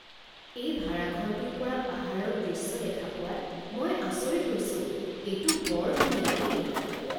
এই ভাৰাঘৰটোৰ পৰা পাহাৰৰ দৃশ্য দেখা পোৱাত মই আচৰিত হৈছোঁ। এইটো বৰ ধুনীয়া দেই!